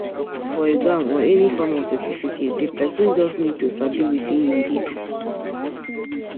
No need for exam or any form of certificate, di person just need to sabi wetin im de do